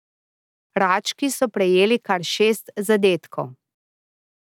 Rački so prejeli kar šest zadetkov.